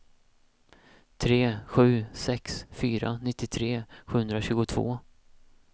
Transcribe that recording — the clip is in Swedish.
tre sju sex fyra nittiotre sjuhundratjugotvå